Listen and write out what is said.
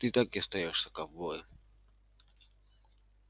ты так и остаёшься ковбоем